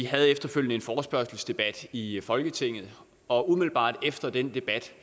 havde efterfølgende en forespørgselsdebat i folketinget og umiddelbart efter den debat